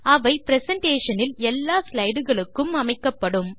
அவை பிரசன்டேஷன் இல் எல்லா ஸ்லைடு களுக்கும் அமைக்கப்படும்